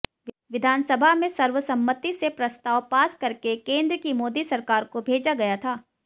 विधानसभा में सर्वसम्मति से प्रस्ताव पास करके केंद्र की मोदी सरकार को भेजा गया था